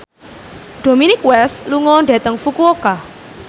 Dominic West lunga dhateng Fukuoka